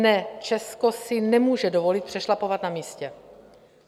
Ne, Česko si nemůže dovolit přešlapovat na místě.